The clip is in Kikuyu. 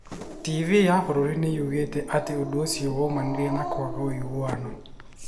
TV ya bũrũri nĩ yoigire atĩ ũndũ ũcio woimanire na kwaga ũiguano.